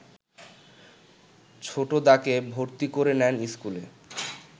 ছোটদাকে ভর্তি করে নেন ইস্কুলে